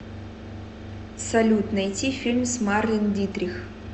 салют найти фильм с марлен дитрих